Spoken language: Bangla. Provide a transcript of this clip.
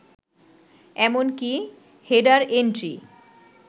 এমনকি হেডার এন্ট্রি